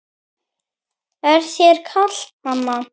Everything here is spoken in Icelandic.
Er þér kalt mamma?